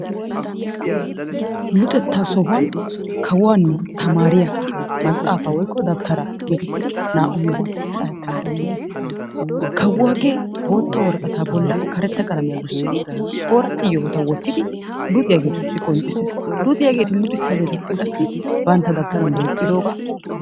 Luxettaa sohuwan kawuanne tamariya maxafaa woyko dawutara getettidi naa"awu gigguwan shakettanna danddayees, kawuagee bottaa worqata bollan karetaa qalamiya gussidi oridde yohotta wottidi qonccissees, luxiyaageeti luxisiyagetuppe qassi bantta dawutaran duqidoga...